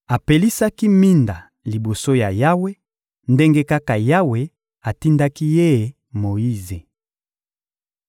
Apelisaki minda liboso ya Yawe, ndenge kaka Yawe atindaki ye Moyize.